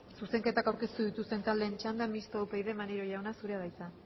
zuzenketak aurkeztu dituzten taldeen txanda mistoa upyd maneiro jauna zurea da hitza